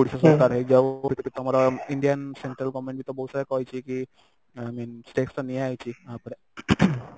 ଓଡିଶା ସରକାର ହେଇଯାଉ ତମର indian central government ବି ତ ବହୁତ ସାରା କହିଛି କି i mean steps ତ ନିଆ ହେଇଛି ଆ ଉପରେ ing